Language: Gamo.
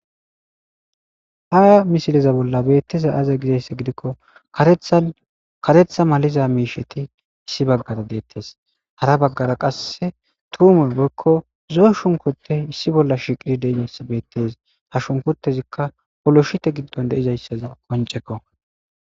ha misileza bolla beetteza aza gizaysse gidikko karetha maliza miisheti issi baggara deettes hara baggara qasse tuume boykko zo shunkote issi bolla shiqiri dizassa bettes ha shunkotezikka poloshite giddon deizayssaza qonceke